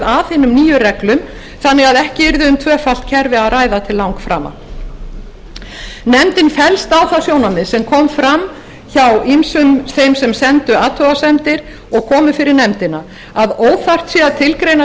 að hinum nýju reglum þannig að ekki yrði um tvöfalt kerfi að ræða til langframa nefndin fellst á það sjónarmið sem kom fram hjá ýmsum þeim sem sendu athugasemdir og komu fyrir nefndina að óþarft sé að tilgreina